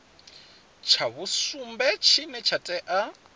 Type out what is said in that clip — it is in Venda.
tsha vhusumbe tshine tsha tea